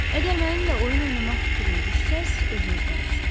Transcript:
Əgər mənimlə oyun oynamaq fikrinə düşsəz özünüzdən küsün.